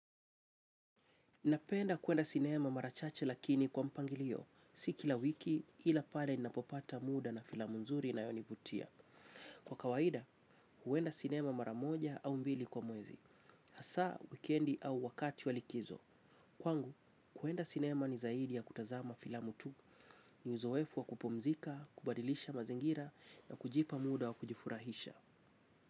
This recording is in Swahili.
Napenda kuenda sinema mara chache lakini kwa mpangilio, si kila wiki ila pale ninapopata muda na filamu nzuri inayonivutia. Kwa kawaida, huenda sinema mara moja au mbili kwa mwezi, hasa, wikendi au wakati wa likizo. Kwangu, kuenda sinema ni zaidi ya kutazama filamu tu, ni uzoefu wa kupumzika, kubadilisha mazingira na kujipa muda wa kujifurahisha.